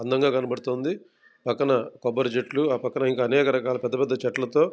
అందంగా కనపడుతుంది. పక్కన కొబ్బరి చెట్లు ఆ పక్కన అనేక రకాలా పెద్ద పెద్ద చెట్లతో --